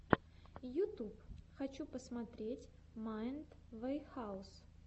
ютюб хочу посмотреть майнд ваэхаус